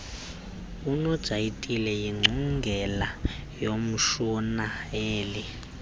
unojayiti yiingcungela yomshurnayeli